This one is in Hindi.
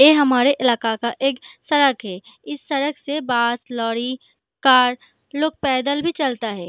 ए हमारे इलाका का एक सड़क है। इस सड़क से बास लोरी कार लोग पैदल भी चलता है।